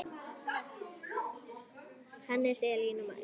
Hannes, Elín og María.